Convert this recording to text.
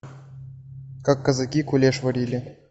как казаки кулеш варили